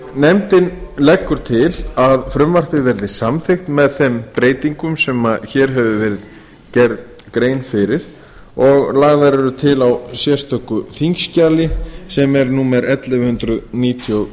nefndin leggur til að frumvarpið verði samþykkt með þeim breytingum sem gerð er grein fyrir hér að framan og lagðar eru til í sérstöku þingskjali sem er númer ellefu hundruð níutíu og